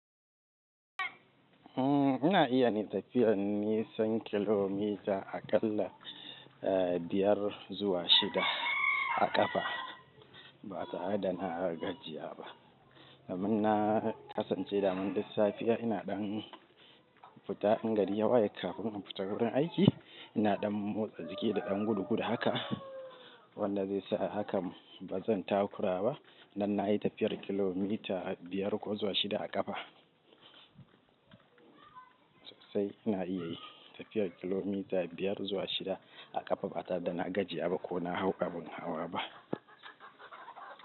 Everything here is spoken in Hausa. Ina iya yin tafiyar nisan kilomita aƙalla biyar zuwa shida a ƙafa ba tare da na gajiya ba. Domin na kasance dama duk safiya ina ɗan fita in gari ya waye kafin in fita gurin aiki. Ina ɗan motsa jiki da ɗan gudu gudu haka. Wanda zai sa haka ba zan takura ba. Dan na yi tafiyar kilomita biyar ko zuwa shida a ƙafa. Sosai ina iya yi tafiyar kilomita biyar zuwa shida a ƙafa ba tare da na gajiya ba ko na hau abun hawa ba.